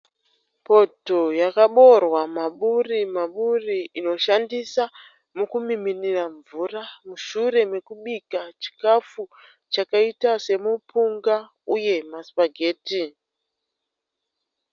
Poto yakaboorwa maburimaburi inoshandiswa mukumiminira mvura mushure mokubika chikafu chakaita semupunga uye masipageti.